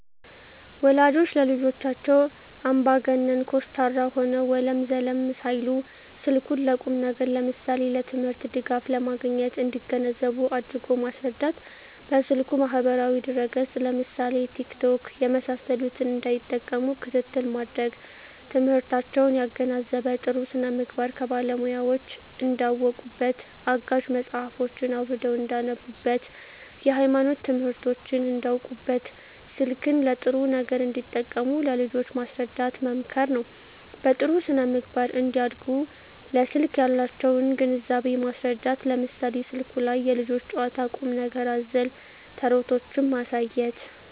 ወላጆች ለልጆቻቸው አምባገነን (ኮስታራ) ሆነው ወለም ዘለም ሳይሉ ስልኩን ለቁም ነገር ለምሳሌ ለትምህርት ድጋፍ ለማግኘት እንዲገነዘቡ አድርጎ ማስረዳት። በስልኩ ማህበራዊ ድረ ገፅ ለምሳሌ ቲክቶክ የመሳሰሉትን እንዳይጠቀሙ ክትትል ማድረግ። ትምህርታቸውን ያገናዘበ , ጥሩ ስነምግባር ከባለሙያወች እንዳውቁበት , አጋዥ መፅሀፎችን አውርደው እንዳነቡብት, የሀይማኖት ትምህርቶችን እንዳውቁበት , ስልክን ለጥሩ ነገር እንዲጠቀሙ ለልጆች ማስረዳት መምከር ነው። በጥሩ ስነ-ምግባር እንዲያድጉ ለስልክ ያላቸውን ግንዛቤ ማስረዳት ለምሳሌ ስልኩ ላይ የልጆች ጨዋታ ቁም ነገር አዘል ተረቶችን ማሳየት